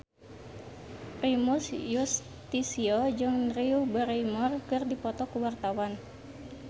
Primus Yustisio jeung Drew Barrymore keur dipoto ku wartawan